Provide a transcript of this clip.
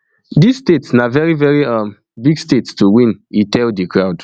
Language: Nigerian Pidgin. dis state na very very um big state to win e tell di crowd